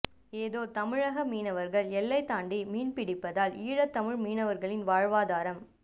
ஏதோ தமிழக மீனவர்கள் எல்லைத்தாண்டி மீன் பிடிப்பதால் ஈழத்தமிழ் மீனவர்களின் வாழ்வாதாரம்